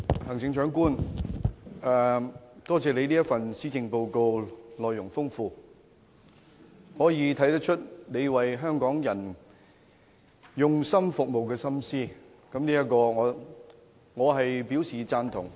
行政長官，多謝你這份內容豐富的施政報告，從中可以看出你用心為香港人服務的心思，我對此表示贊同。